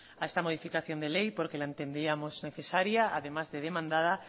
a esta modificación de ley porque la entendíamos necesaria además de demandada